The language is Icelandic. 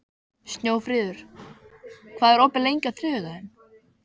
Snjófríður, hvað er opið lengi á þriðjudaginn?